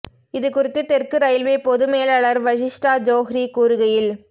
இது குறித்து தெற்கு ரயில்வே பொது மேலாளர் வஷிஷ்டா ஜோஹ்ரி கூறுகையில்